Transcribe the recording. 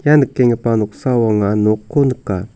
ia nikenggipa noksao anga nokko nika.